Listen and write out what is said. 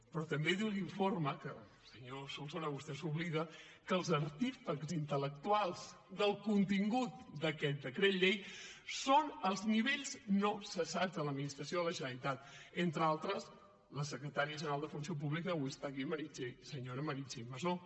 però també diu l’informe que senyor solsona vostè se n’oblida que els artífex intel·lectuals del contingut d’aquest decret llei són els nivells no cessats de l’administració de la generalitat entre altres la secretària general de funció pública que avui està aquí senyora meritxell masó